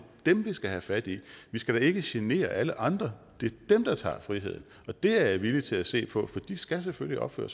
dem vi skal have fat i vi skal da ikke genere alle andre det er dem der tager friheden og det er jeg villig til at se på for de skal selvfølgelig opføre